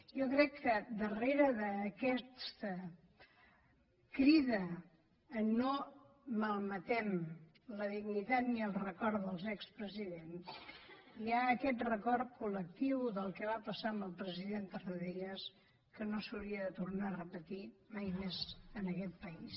jo crec que darrere d’aquesta crida no malmetem la dignitat ni el record dels expresidents hi ha aquest record col·lectiu del que va passar amb el president tarradellas que no s’hauria de tornar a repetir mai més en aquest país